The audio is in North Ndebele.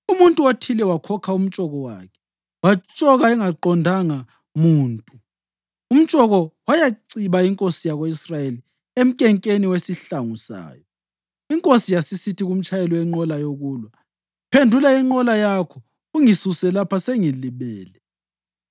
Umuntu othile wakhokha umtshoko wakhe watshoka engaqondanga muntu umtshoko wayaciba inkosi yako-Israyeli emkenkeni wesihlangu sayo. Inkosi yasisithi kumtshayeli wenqola yokulwa: “Phendula inqola yakho ungisuse lapha. Sengilimele.”